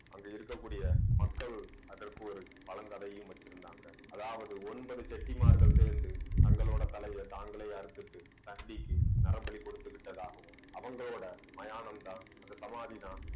அங்க இருக்கக்கூடிய மக்கள் அதற்கு ஒரு பழங்கதையும் வச்சிருந்தாங்க அதாவது ஒன்பது செட்டிமார்கள் சேர்ந்து தங்களோட தலையை தாங்களே அறுத்துட்டு நரம்பலி கொடுத்து விட்டதாகவும் அவங்களோட மயானம்தான் அந்த சமாதிதான்